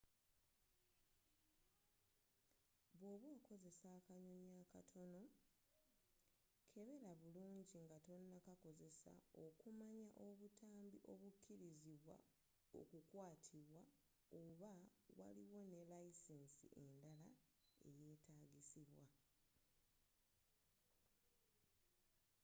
bwoba okoze akanyonyi akatono kebera bulungi nga tonnakakozesa okumanya obutambi obukkirizibwa okukwatibwa oba waliwo ne layisinsi endala eyetagisibwa